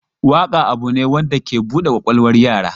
Waƙa abu ne da ke bude kwakwalwar yara.